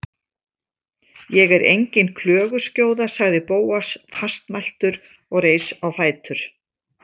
Ég er engin klöguskjóða- sagði Bóas fastmæltur og reis á fætur.